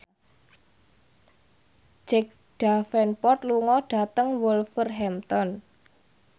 Jack Davenport lunga dhateng Wolverhampton